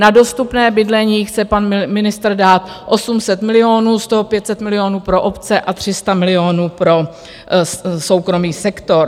Na dostupné bydlení chce pan ministr dát 800 milionů, z toho 500 milionů pro obce a 300 milionů pro soukromý sektor.